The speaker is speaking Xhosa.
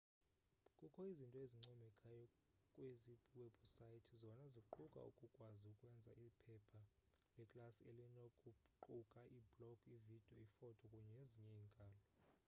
kukho izinto ezincomekayo kwezi webhusayithi zona ziquka ukukwazi ukwenza iphepha leklasi elinokuquka iiblogi iividiyo iifoto kunye nezinye iinkalo